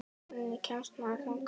Hvernig kemst maður þangað?